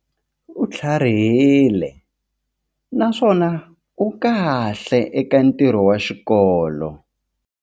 U tlharihile naswona u kahle eka ntirho wa xikolo.